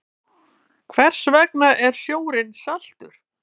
Hvers vegna er sjórinn saltur?